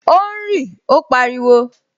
O ń rí! Ó pariwo